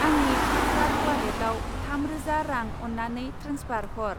आंनि फ्लिपकार्ट उवालेटाव थाम रोजा रां अन्नानै ट्रेन्सफार हर।